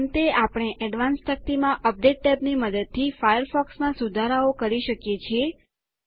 અંતે આપણે એડવાન્સ્ડ તકતીમાં અપડેટ ટેબની મદદથી ફાયરફોક્સમાં સુધારાઓ કરી શકીએ છીએ